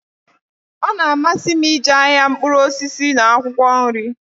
Ọ na-amasi m ije ahịa mkpuru osisi n'akwụkwọ nri.